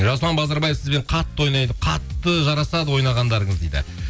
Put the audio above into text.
жасұлан базарбаев сізбен қатты ойнайды қатты жарасады ойнағандарыңыз дейді